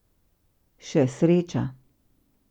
Še sreča.